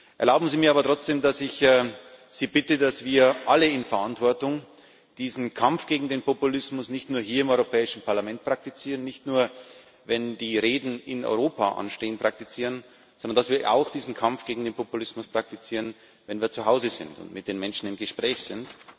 Erlauben Sie mir aber trotzdem, dass ich Sie bitte, dass wir alle in Verantwortung diesen Kampf gegen den Populismus nicht nur hier im Europäischen Parlament praktizieren, das heißt nicht nur dann, wenn die Reden in Europa anstehen, sondern dass wir diesen Kampf gegen den Populismus auch dann praktizieren, wenn wir zu Hause sind und mit den Menschen im Gespräch sind.